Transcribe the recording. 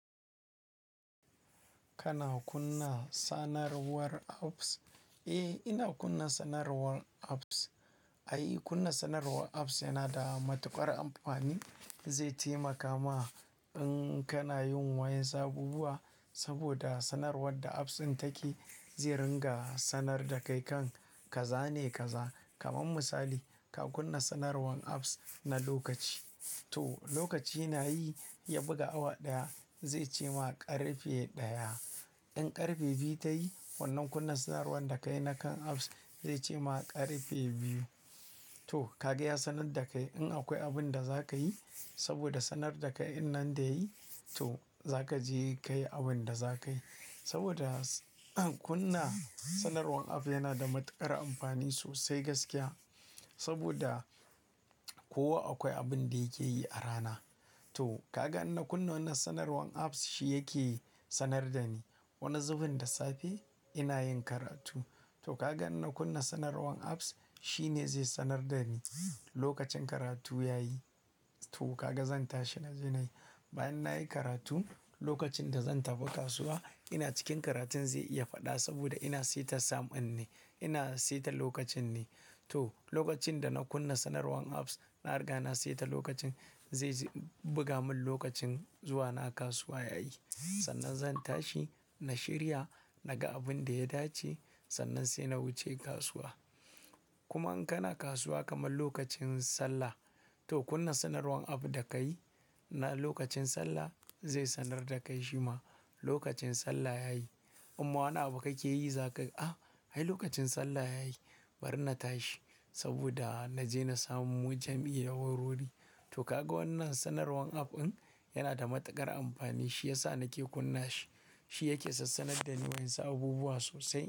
Kana kunna sanarwar apps? Eh, ina kunna sanarwar apps. Ai, kunna sanarwar apps yana da matuƙar amfani. Zai taimaka ma in kana yin wayan sabubuwa saboda sanarwar da apps din take zai ringa sanar da kai kan ka zane kaza. Kaman misali ka kunna sanarwan apps na lokaci. To lokaci nayi ya buga awa ɗaya zai ce ma ƙarfe ɗaya. In ƙarfe biyu ta yi wannan kunna sanarwar da kayi na kan apps zai ce ma ƙarfe biyu. To kaga ya sanar da kai. In akwai abun da za ka yi saboda sanar da kai din nan da yayi to za kaje kayi abun da za kayi. Saboda kunna sanarwan app yana da matuƙar amfani sosai gaskiya. Saboda kowa akwai abun da yake yi a rana. To kaga in na kunna wannan sanarwan apps shi yake sanar da ni. Wani zubin da safe ina yin karatu. To kaga in na kunna sanarwan apps shine zai sanar da ni lokacin karatu ya yi. To ka ga zan tashi na je nayi. Bayan nayi karatu lokacin da zan taba kasuwa, ina cikin karatun zai iya faɗa saboda ina seta sound din ne, ina saita lokacin ne. To lokacin da na kunna sanarwan apps na riga na saita lokacin zai ji buga mun lokacin zuwa na kasuwa ya yi. Sannan zan tashi na shirya naga abun da ya dace sannan sai na wuce kasuwa. Kuma in kana kasuwa kaman lokacin sallah. To kunna sanarwan app da ka yi na lokacin sallah zai sanar da kai shima lokacin sallah ya yi. Um'ma wani abu kake yi za ka yi "a! Ai lokacin sallah ya yi bari na tashi saboda na je na samu jam'i da wurwuri." To ka ga wannan sanarwan app din yana da matuƙar amfani shi yasa nake kunna shi. Shi yake sassanar da ni wayan sa abubuwa sosai.